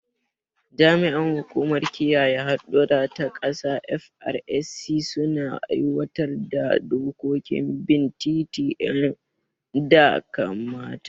Jami’an hukumar kiyaye haɗɗura ta kasa (FRSC) suna aiwatar da dokokin bin titi yanda ya kamata